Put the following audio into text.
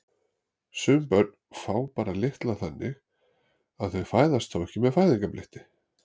Sum börn fá bara litla þannig að þau fæðast þá ekki með fæðingarbletti.